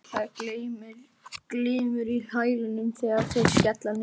Það glymur í hælunum þegar þeir skella niður.